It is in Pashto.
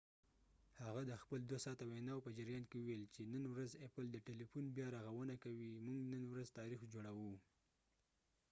هغه د خپل ۲ ساعته ویناو په جریان کې وویل چې نن ورځ ايپل د تيلیفون بیا رغونه کوي، موږ نن ورځ تاریخ جوړوو"۔